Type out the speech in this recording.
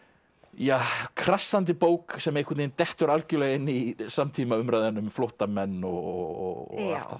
ja krassandi bók sem einhvern veginn dettur algjörlega inn í samtímaumræðuna um flóttamenn og allt það